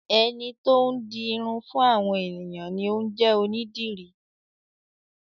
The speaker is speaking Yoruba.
Ẹni tó ń di irun fún àwọn ènìyàn ni ó ń jẹ́ onídìrí.